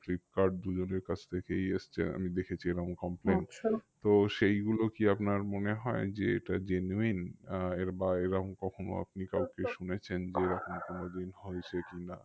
Flipkart দুজনের কাছ থেকেই এসছে আমি দেখেছি এরম তো সেগুলো কি আপনার মনে হয় যে এটা genuine? আহ এর বা এইরম কখনো আপনি কাউকে শুনেছেন যে এরকম কোনোদিন হয়েছে কি না?